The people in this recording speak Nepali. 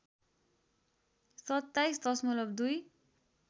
२७ दशमलव २